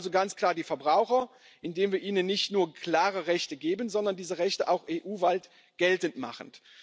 Wir stärken also ganz klar die Verbraucher, indem wir ihnen nicht nur klare Rechte geben, sondern diese Rechte auch EU weit geltend machen.